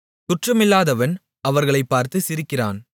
குற்றமில்லாதவன் அவர்களைப் பார்த்து சிரிக்கிறான்